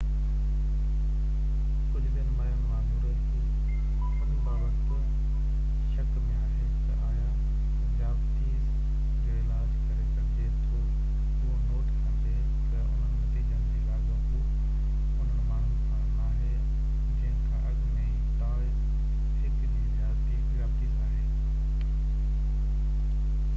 ڪجهہ ٻين ماهرن وانگر هي ان بابت شڪ ۾ آهي تہ آيا ذيابطيس جو علاج ڪري سگهجي ٿو اهو نوٽ ڪندي تہ انهن نتيجن جو لاڳاپو انهن ماڻهن سان ناهي جنهن کان اڳ ۾ ئي ٽائپ 1 جي ذيابطيس آهي